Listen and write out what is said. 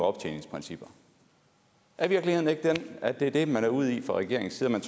optjeningsprincipper er virkeligheden ikke den at det er det man er ude i fra regeringens side man